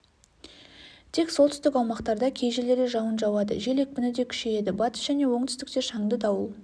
тек солтүстік аумақтарда кей жерлерде жауын жауады жел екпіні де күшейеді батыс және оңтүстікте шаңды дауыл